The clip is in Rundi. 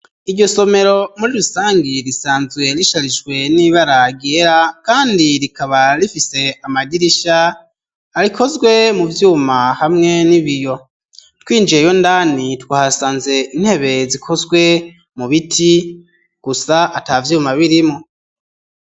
iryo somero muri rusangi risanzwe risharijwe n'ibara ryera kandi rikaba rifise amadirisha arikozwe mu vyuma hamwe n'ibiyo, twinjiyeyo ndani twasanze intebe zikozwe mu biti gusa ata vyuma birimwo.